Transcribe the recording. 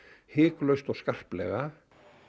hiklaust og skarplega